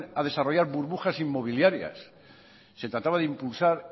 a desarrollar burbujas inmobiliarias se trataba de impulsar